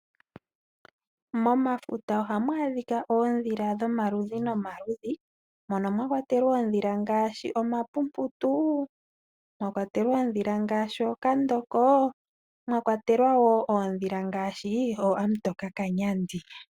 Momafuta ohamu adhika oodhila dhomaludhi nomaludhi mono mwakwatelwa oodhila ngaashi omapumputu, ookandoko nosho woo ookantokakanyandi.